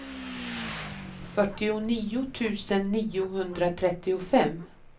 fyrtionio tusen niohundratrettiofem